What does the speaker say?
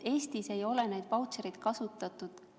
Eestis ei ole neid vautšereid kasutatud.